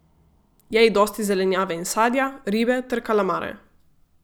Jej dosti zelenjave in sadja, ribe ter kalamare.